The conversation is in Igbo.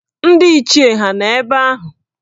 Ndị Ichie hà nọ ebe ahụ?